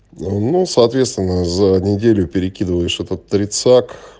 ну соответственно за неделю перекидываешь этот тридцак